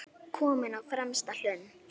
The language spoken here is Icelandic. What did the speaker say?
Kominn á fremsta hlunn.